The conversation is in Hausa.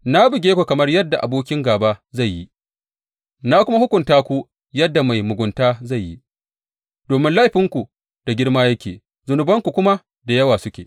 Na buge ku kamar yadda abokin gāba zai yi na kuma hukunta ku yadda mai mugunta zai yi, domin laifinku da girma yake zunubanku kuma da yawa suke.